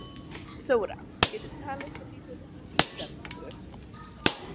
Þóra: Geturðu talað svolítið í íslensku?